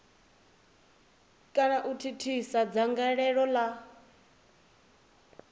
kana u thithisa dzangalelo la